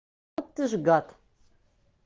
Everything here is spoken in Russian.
ты ж гад